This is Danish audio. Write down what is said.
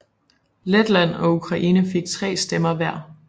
Letland og Ukraine fik tre stemmer hver